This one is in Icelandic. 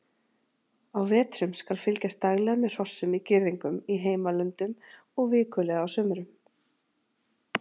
Á vetrum skal fylgjast daglega með hrossum í girðingum í heimalöndum og vikulega á sumrum.